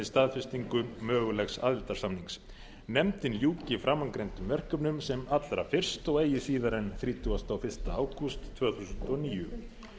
staðfestingu mögulegs aðildarsamnings nefndin ljúki framangreindum verkefnum sem allra fyrst og eigi síðar en þrítugasta og fyrsta ágúst tvö þúsund og níu